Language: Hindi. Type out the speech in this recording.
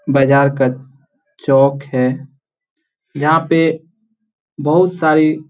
बाजार का चौक है यहाँ पे बहुत सारे--